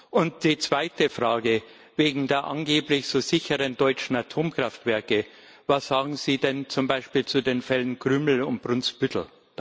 Und die zweite Frage Wegen der angeblich so sicheren deutschen Atomkraftwerke Was sagen Sie denn zum Beispiel zu den Fällen Krümmel und Brunsbüttel?